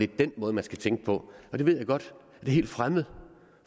den måde man skal tænke på det ved jeg godt er helt fremmed